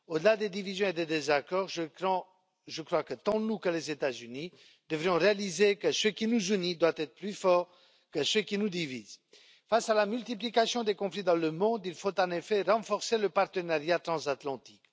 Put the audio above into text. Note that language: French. Au delà des divisions et des désaccords, je crois que tant nous que les États Unis devrions réaliser que ce qui nous unit doit être plus fort que ce qui nous divise. Face à la multiplication des conflits dans le monde, il faut en effet renforcer le partenariat transatlantique.